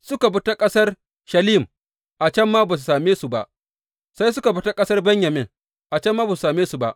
Suka bi ta ƙasar Shalim, a can ma ba su same su ba sai suka bi ta ƙasar Benyamin, a can ma ba su same su ba.